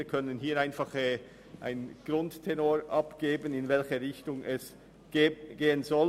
Wir können einfach einen Grundtenor abgeben, in welche Richtung es gehen soll.